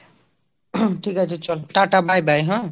ঠিক আছে চল tata bye bye হ্যাঁ?